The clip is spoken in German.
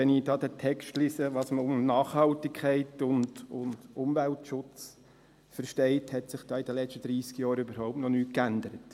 Wenn ich den Text lese, was man unter Nachhaltigkeit und Umweltschutz versteht, hat sich diesbezüglich in den letzten 30 Jahren noch überhaupt nichts geändert.